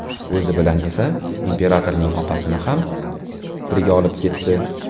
O‘zi bilan esa imperatorning opasini ham birga olib ketdi.